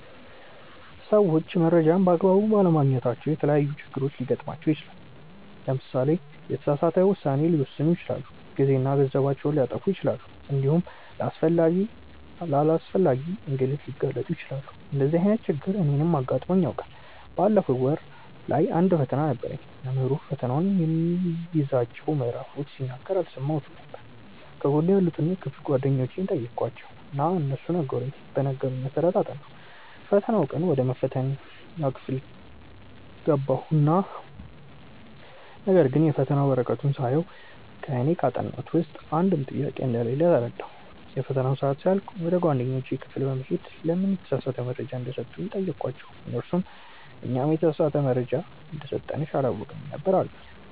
ሰዎች መረጃን በ አግባቡ ባለማግኘታቸው የተለያዪ ችግሮች ሊገጥማቸው ይችላል። ለምሳሌ የተሳሳተ ውሳኔ ሊወስኑ ይችላሉ፣ ጊዜና ገንዘባቸውን ሊያጠፉ ይችላሉ እንዲሁም ለአላስፈላጊ እንግልት ሊጋለጡ ይችላሉ። እንደዚህ አይነት ችግር እኔንም አጋጥሞኝ ያውቃል። ባለፈው ወር ላይ አንድ ፈተና ነበረኝ። መምህሩ ፈተናው የሚይዛቸውን ምዕራፎች ሲናገር አልሰማሁትም ነበር። ከጎኔ ያሉትን የክፍል ጓደኞቼን ጠየኳቸው እና እነሱ በነገሩኝ መሰረት አጠናሁ። የፈተናው ቀን ወደ መፈተኛ ክፍል ገባሁ ነገርግን የፈተና ወረቀቱን ሳየው እኔ ካጠናሁት ውስጥ አንድም ጥያቄ እንደሌለ ተረዳሁ። የፈተናው ሰአት ሲያልቅ ወደ ክፍል ጓደኞቼ በመሄድ ለምን የተሳሳተ መረጃ እንደሰጡኝ ጠየኳቸው እነርሱም "እኛም የተሳሳተ መረጃ እንደሰጠንሽ አላወቅንም ነበር አሉኝ"።